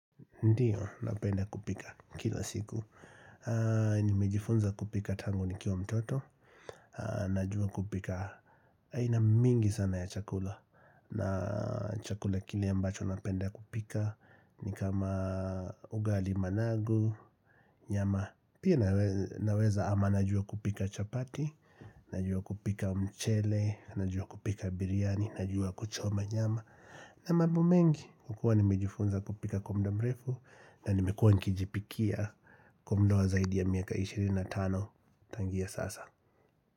Ndiyo, napenda kupika kila siku Nimejifunza kupika tangu nikiwa mtoto Najua kupika aina mingi sana ya chakula na chakula kile ambacho napenda kupika ni kama ugali managu, nyama Pia naweza ama najua kupika chapati Najua kupika mchele, najua kupika biryani, najua kuchoma nyama na mambo mengi, kukua nimejifunza kupika kwa muda mrefu na nimekuwa nikijipikia Kwa mudawa zaidi ya miaka 25 Tangia sasa.